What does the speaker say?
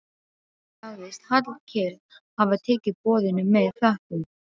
Sagðist Hallkell hafa tekið boðinu með þökkum.